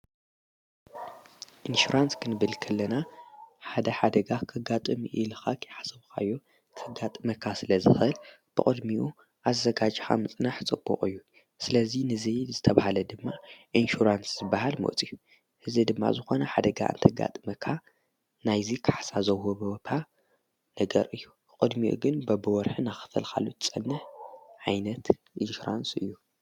ኢንሽራንስ ክን ብልክለና ሓደ ሓደጋ ኸጋጥሚ ኢልኻኽ የሓሰብኻዮ ተጋጥ መካ ስለ ዝኽህል ብቕድሚኡ ኣዘጋጅ ሓምፅናሕ ጸቡቕ እዩ ስለዙይ ንዘይድ ዝተብሃለ ድማ ኢንሽራንስ ዝበሃል ሞጺዩ ሕዚ ድማ ዝኾነ ሓደጋ እንተጋጥ መካ ናይዙ ከሕሳ ዘውው በወቓ ነገር እዩ ቖድሚኡ ግን በብወርኅን ኣኽፈልኻሉት ጸንሕ ዓይነት ኢንሽራንስ እዩ።